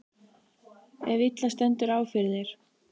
ef illa stendur á fyrir þér.